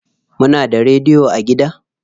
Muna da rediyo a gida?